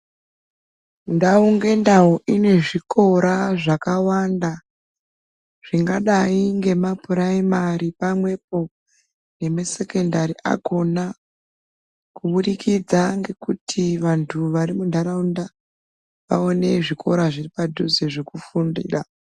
Ndau ngendau ine zvikora zvakawanda zvingadai ngemapuraimari pamwepo nemasekondari akona kubudikidza ngekuti antu vari muntaraunda aone zvikora zviri padhuze zvekufundira.